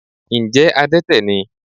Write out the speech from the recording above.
Ǹjẹ́ adẹ́tẹ̀ ni?